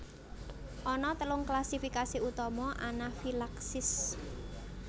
Ana telung klasifikasi utama anafilaksis